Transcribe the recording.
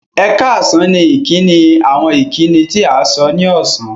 Ẹ̀kààsán ni ìkíni àwọn ìkíni tí à sọ̀ ní ọṣán